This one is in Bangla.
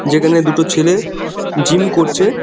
যেখানে দুটো ছেলে জিম করছে।